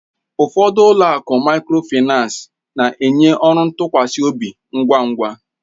Ụfọdụ ụlọ akụ Mikrofaịnsi na-enye ọrụ ntụkwasị obi ngwa ngwa